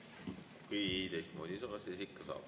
Kui teistmoodi ei saa, siis ikka saab.